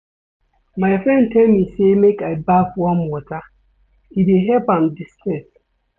My friend tell me sey make I baff warm water, e dey help am di-stress.